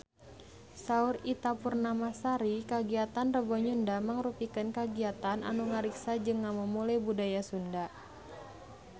Saur Ita Purnamasari kagiatan Rebo Nyunda mangrupikeun kagiatan anu ngariksa jeung ngamumule budaya Sunda